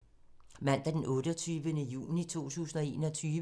Mandag d. 28. juni 2021